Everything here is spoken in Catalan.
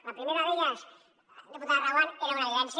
la primera d’elles diputada reguant era una evidència